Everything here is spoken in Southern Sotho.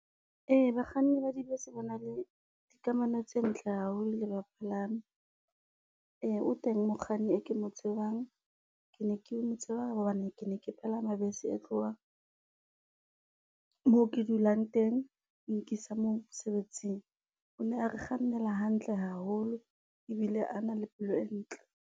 Ee bakganni ba dibese ba na le dikamano tse ntle haholo le bapalami. Ee o teng mokganni e ke mo tsebang, ke ne ke mo tsebang hobane ke ne ke palama bese e tlohang, moo ke dulang teng e nkisa mosebetsing. O ne a re kgannela hantle haholo ebile a na le pelo e ntle.